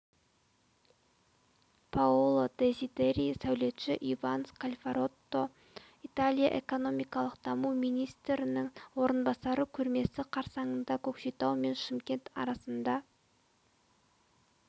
паоло дезидери сәулетші иван скальфаротто италия экономикалық даму министрінің орынбасары көрмесі қарсаңында көкшетау мен шымкент арасында